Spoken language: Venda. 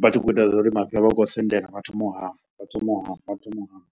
Vha tshi khou ita zwa uri mafhi a vhe a khou sendela vha thoma u hama vha thoma u hama vha thoma u hama.